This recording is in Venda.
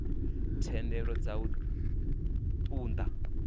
thendelo dza u ṱun ḓa